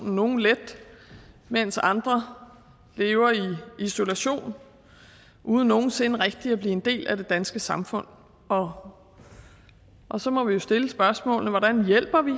nogle let mens andre lever i isolation uden nogen sinde rigtigt at blive en del af det danske samfund og og så må vi jo stille spørgsmålene hvordan hjælper vi